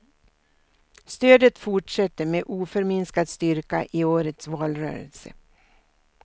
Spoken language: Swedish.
Stödet fortsätter med oförminskad styrka i årets valrörelse.